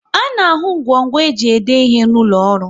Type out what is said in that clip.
A na ahụ ngwo ngwo e ji ede ihe n'ụlọ ọrụ